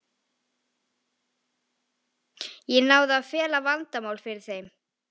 Ég náði að fela vandamálin fyrir þeim.